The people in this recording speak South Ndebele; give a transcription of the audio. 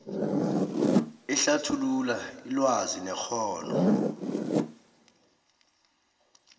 ehlathulula ilwazi nekghono